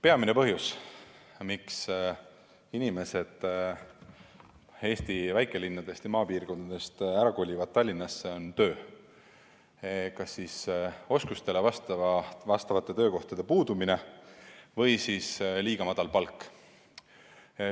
Peamine põhjus, miks inimesed Eesti väikelinnadest ja maapiirkondadest Tallinnasse kolivad, on töö – kas oskustele vastavate töökohtade puudumine või liiga väike palk.